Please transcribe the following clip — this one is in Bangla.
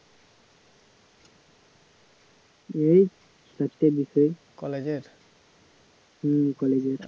এই হম কলেজের